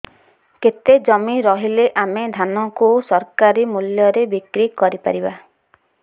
କେତେ ଜମି ରହିଲେ ଆମେ ଧାନ କୁ ସରକାରୀ ମୂଲ୍ଯରେ ବିକ୍ରି କରିପାରିବା